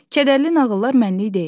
Kədərli nağıllar mənlik deyil.